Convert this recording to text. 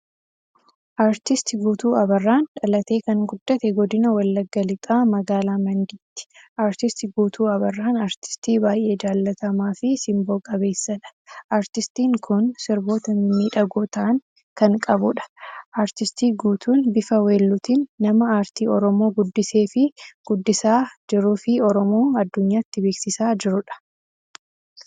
Artisti Guutuu Abarraan dhalatee kan guddate Godina Wallagga lixaa Magaalaa Mandiitti. Artisti Guutuu Abarraan, artistii baay'ee jaallatamaafi simboo qabeessadha. Artistiin kun sirboota mimmiidhagoo ta'an kan qabuudha. Artisti Guutuun bifa weelluutin nama aartii oromoo guddiseefi guddisaa jiruufi Oromoo addunyyaatti beeksisaa jiruudha.